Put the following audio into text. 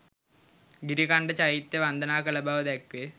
ගිරිකණ්ඩ චෛත්‍යය වන්දනා කළ බව දැක්වේ.